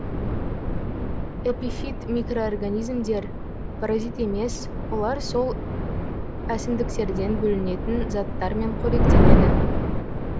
эпифит микроорганизмдер паразит емес олар сол әсімдіктерден бөлінетін заттармен қоректенеді